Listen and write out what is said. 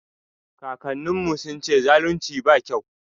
Kakannin mu sun ce zalunci ba kyau